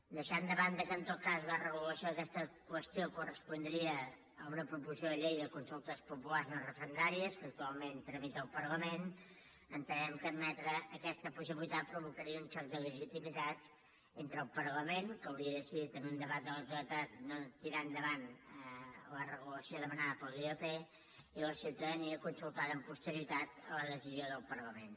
deixant de banda que en tot cas la regulació d’aquesta qüestió correspondria a una proposició de llei de consultes populars no referendàries que actualment tramita el parlament entenem que admetre aquesta possibilitat provocaria un xoc de legitimitats entre el parlament que hauria decidit en un debat a la totalitat no tirar endavant la regulació demanada per la ilp i la ciutadania consultada amb posterioritat a la decisió del parlament